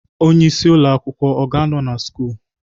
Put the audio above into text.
Onye isi ụlọ akwụkwọ ọ ga-anọ na sch?